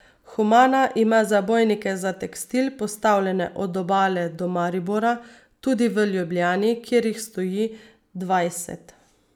Humana ima zabojnike za tekstil postavljene od Obale do Maribora, tudi v Ljubljani, kjer jih stoji dvajset.